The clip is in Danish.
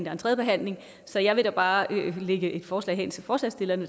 er en tredje behandling så jeg vil da bare lægge et forslag til forslagsstillerne